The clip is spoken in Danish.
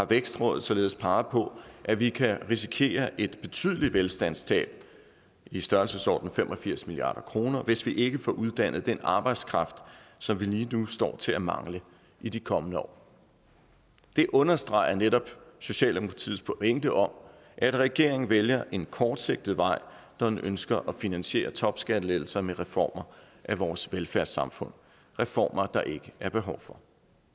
vækstråd således peget på at vi kan risikere et betydeligt velstandstab i størrelsesordenen fem og firs milliard kr hvis vi ikke får uddannet den arbejdskraft som vi lige nu står til at mangle i de kommende år det understreger netop socialdemokratiets pointe om at regeringen vælger en kortsigtet vej når den ønsker at finansiere topskattelettelser med reformer af vores velfærdssamfund reformer der ikke er behov for